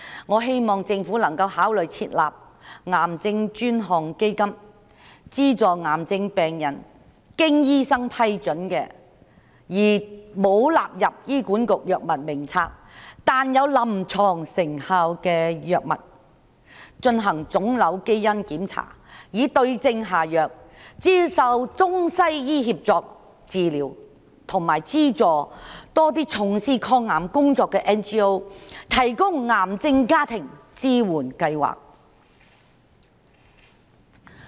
我希望政府能夠考慮設立癌症專項基金，資助癌症病人購買經醫生批准而沒有納入醫管局藥物名冊但有臨床成效的藥物，進行腫瘤基因檢查以對症下藥，接受中西醫協作治療，以及資助從事抗癌工作的 NGO 提供癌症家庭支援計劃。